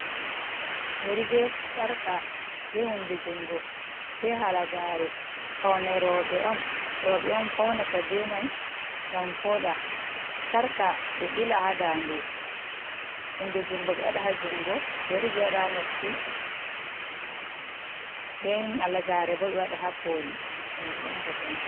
Yeri, be sarka, be hunde jungo, be halagaare. Faune rooɓe on, rooɓe on faunata be mai ngam vooɗa, sarqa ɓe ɓila ha ndande, hunde jungo ɓe waɗa ha jungo, yeri ɓe waɗa hq noppi, nden halagaare bo ɓe waɗa ha koli kanju on bote mai.